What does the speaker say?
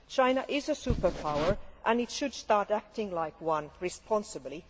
China is a superpower and it should start acting like one responsibly.